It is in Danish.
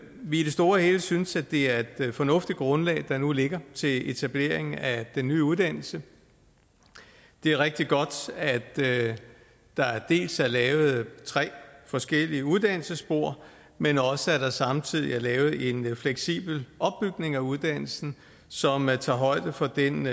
vi i det store hele synes at det er et fornuftigt grundlag der nu ligger til etablering af den nye uddannelse det er rigtig godt at der dels er lavet tre forskellige uddannelsesspor men også at der samtidig er lavet en fleksibel opbygning af uddannelsen så man tager højde for den